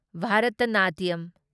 Bharatanatyam